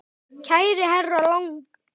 Kæri herra Lang.